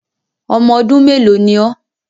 Ọmọ ọdún mélòó ni ọ́.?